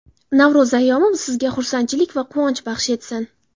Navro‘z ayyomi sizga xursandchilik va quvonch baxsh etsin.